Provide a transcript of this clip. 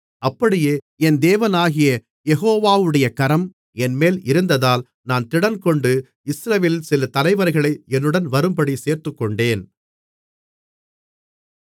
அப்படியே என் தேவனாகிய யெகோவாவுடைய கரம் என்மேல் இருந்ததால் நான் திடன்கொண்டு இஸ்ரவேலில் சில தலைவர்களை என்னுடன் வரும்படி சேர்த்துக்கொண்டேன்